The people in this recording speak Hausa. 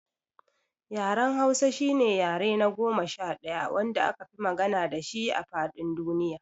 Yaren Hausa shine yare na goma sha ɗaya wanda akafi magana dashi a faɗin duniya.